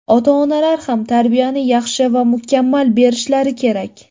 Ota-onalar ham tarbiyani yaxshi va mukammal berishlari kerak.